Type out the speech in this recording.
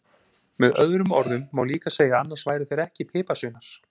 Með öðrum orðum má líka segja að annars væru þeir ekki piparsveinar!